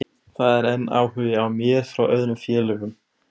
Sama má segja um vatnsgufuna sem frá þeim kemur.